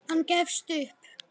Hann gefst upp.